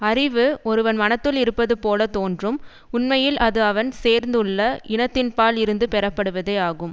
அறிவு ஒருவன் மனத்துள் இருப்பது போல தோன்றும் உண்மையில் அது அவன் சேர்ந்துள்ள இனத்தின்பால் இருந்து பெறப்படுவதே ஆகும்